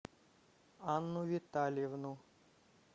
анну витальевну